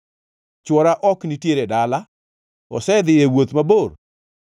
Chwora ok nitiere dala; osedhiyo e wuoth mabor.